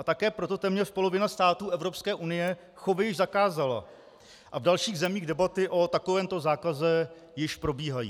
A také proto téměř polovina států Evropské unie chovy již zakázala a v dalších zemích debaty o takovémto zákaze již probíhají.